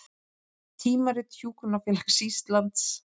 Tímarit Hjúkrunarfélags Íslands